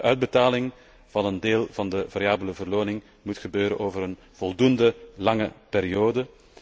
De uitbetaling van een deel van de variabele beloning moet gebeuren over een voldoende lange periode.